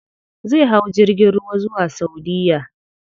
Zai hau jirgin ruwa zuwa saudiya.